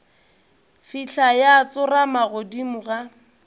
fihla ya tsorama godimo ga